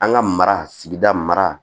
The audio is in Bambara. An ka mara sigida mara